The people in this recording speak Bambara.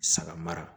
Saga mara